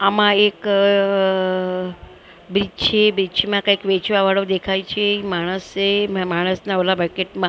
આમા એક બીચ છે બીચ મા કઇક વેચવા વાળો દેખાય છે માણસ છે માણસના ઓલા બકેટ માં--